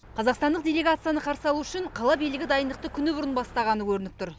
қазақстандық делегацияны қарсы алу үшін қала билігі дайындықты күні бұрын бастағаны көрініп тұр